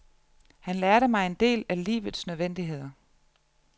Han lærte mig en del af livets nødvendigheder.